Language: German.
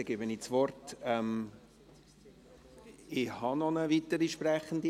Dann gebe ich das Wort … Doch, ich habe noch eine weitere Sprechende.